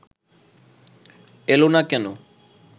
এল না কেন